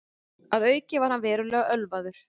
Að auki var hann verulega ölvaður